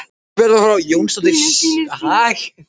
Kona hans var Björg Jónasdóttir frá Svínaskála.